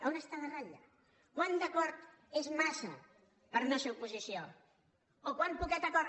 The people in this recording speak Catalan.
on és la ratlla quant d’acord és massa per no ser oposició o quant poquet acord